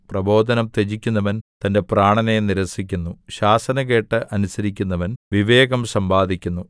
പ്രബോധനം ത്യജിക്കുന്നവൻ തന്റെ പ്രാണനെ നിരസിക്കുന്നു ശാസന കേട്ട് അനുസരിക്കുന്നവൻ വിവേകം സമ്പാദിക്കുന്നു